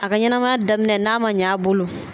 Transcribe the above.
A ka ɲanamaya daminɛ n'a man ɲ'a bolo